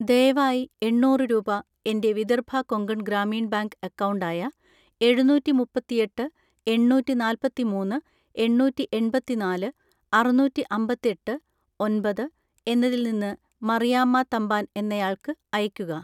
ദയവായി എണ്ണൂറ് രൂപ എൻ്റെ വിദർഭ കൊങ്കൺ ഗ്രാമീൺ ബാങ്ക് അക്കൗണ്ട് ആയ എഴുന്നൂറ്റിമുപ്പത്തിയെട്ട് എണ്ണൂറ്റിനാല്പത്തിമൂന്ന് എണ്ണൂറ്റിഎൺപത്തിനാല് അറുന്നൂറ്റിഅമ്പത്തെട്ട് ഒമ്പത് എന്നതിൽ നിന്ന് മറിയാമ്മ തമ്പാൻ എന്നയാൾക്ക് അയക്കുക